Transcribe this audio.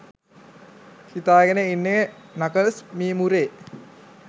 හිතාගෙන ඉන්නේ නකල්ස් මීමුරේ.